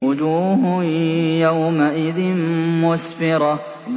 وُجُوهٌ يَوْمَئِذٍ مُّسْفِرَةٌ